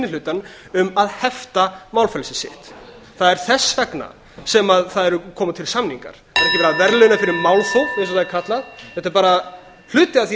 hlutann um að hefta málfrelsi sitt það er þess vegna sem það koma til samningar það er ekki verið að verðlauna fyrir málþóf eins og það er kallað þetta er bara hluti af því